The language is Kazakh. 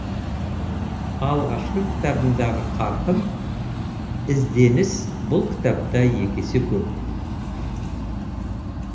алғашқы кітабымдағы қарқын ізденіс бұл кітапта екі есе көп